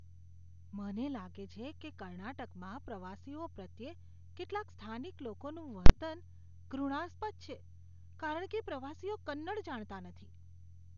મને લાગે છે કે કર્ણાટકમાં પ્રવાસીઓ પ્રત્યે કેટલાક સ્થાનિક લોકોનું વર્તન ઘૃણાસ્પદ છે કારણ કે પ્રવાસીઓ કન્નડ જાણતા નથી.